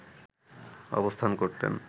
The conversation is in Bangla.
অবস্থান করতেন